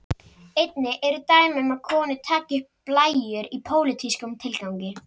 Einnig eru dæmi um að konur taki upp blæjur í pólitískum tilgangi.